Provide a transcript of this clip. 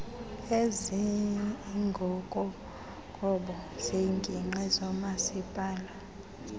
ezingokoqobo zeengingqi zomasipala